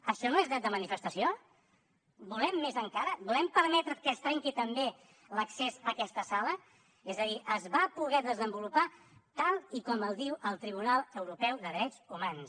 això no és dret de manifestació volem més encara volem permetre que es trenqui també l’accés a aquesta sala és a dir es va poder desenvolupar tal com diu el tribunal europeu de drets humans